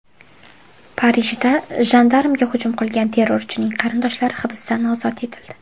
Parijda jandarmga hujum qilgan terrorchining qarindoshlari hibsdan ozod etildi.